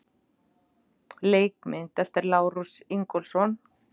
Leikmynd eftir Lárus Ingólfsson.